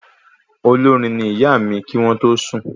Olórin ní ìyá mí kí wọn tó sùn